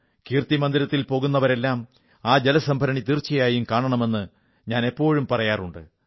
കീർത്തിമന്ദിരത്തിൽ പോകുന്നവരെല്ലാം ആ ജലസംഭരണി തീർച്ചയായും കാണണമെന്ന് ഞാൻ എപ്പോഴും പറയാറുണ്ട്